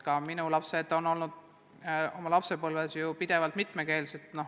Ka minu lapsed on mitmekeelsed.